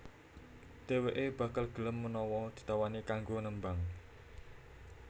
Dhèwèké bakal gelem menawa ditawani kanggo nembang